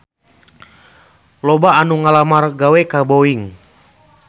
Loba anu ngalamar gawe ka Boeing